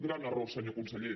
gran error senyor conseller